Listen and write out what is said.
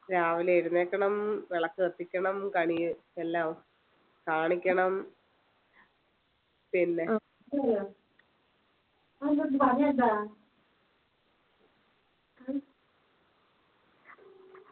രാവിലെ എഴുന്നേൽക്കണം വിളക്ക് കത്തിക്കണം കണി എല്ലാം കാണിക്കണം പിന്നെ